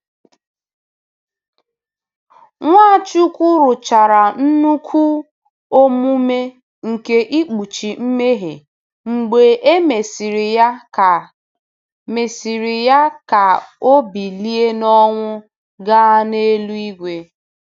Nwachukwu rụchara nnukwu omume nke ikpuchi mmehie mgbe e mesịrị ya ka mesịrị ya ka o bilie n'ọnwụ gaa n'eluigwe.